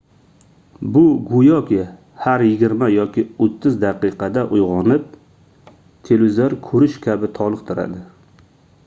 bu goʻyoki har yigirma yoki oʻttiz daqiqada uygʻonib televizor koʻrish kabi toliqtiradi